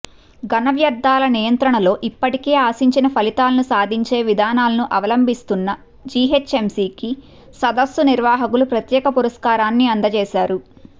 ఘన వ్యర్థాల నియంత్రణలో ఇప్పటికే ఆశించిన ఫలితాలను సాధించే విధానాలను అవలంభిస్తున్న జీహెచ్ఎంసీకి సదస్సు నిర్వాహకులు ప్రత్యేక పురస్కారాన్ని అందజేశారు